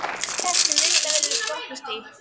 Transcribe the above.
Þessi sem myndavélin er skotnust í.